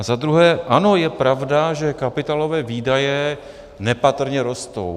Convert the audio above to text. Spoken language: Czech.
A za druhé, ano, je pravda, že kapitálové výdaje nepatrně rostou.